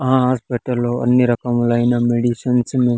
ఆ హాస్పిటల్ లో అన్ని రకములైన మెడిసిన్స్ ఉం--